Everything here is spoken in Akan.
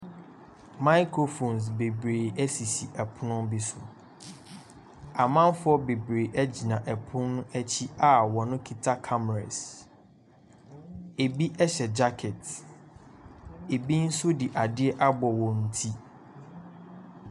Microphones bebree esisi pono bi so, amamfo bebree gyina pono akyi a wɔkita cameras, bi hyɛ jacket, bi nso de ade abɔ wɔn ti.